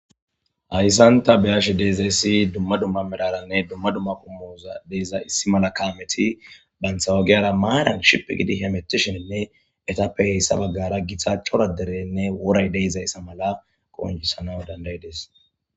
hayssanta beyashe de'izayessi dumma dumma medaranne dumma dumma qumoza deiza issi mala kaameti banthawagiyara maaran ship gidi hemetishininne etappe heyssa baggara githa hchora derenne woray deezayssa mala qonjisana dandayides